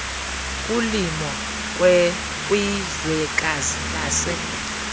kulimo kwizwekazi lase